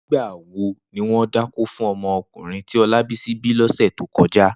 Nigbà wó niwọn dákó fún ọmọ ọkunrin ti Olabisi bi lọsẹ tókọjá?